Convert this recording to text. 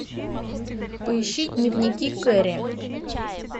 поищи дневники кэрри